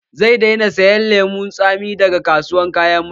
Zan daina sayan lemun tsami daga kasuwan kayan marmari